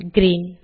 green